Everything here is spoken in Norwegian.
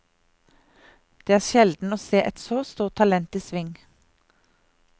Det er sjelden å se et så stort talent i sving.